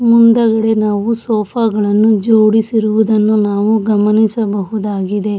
ಮುಂದುಗಡೆ ನಾವು ಸೋಫಾ ಗಳನ್ನೂ ಜೋಡಿಸಿರುವುದನ್ನು ನಾವು ಗಮನಿಸಬಹುದಾಗಿದೆ.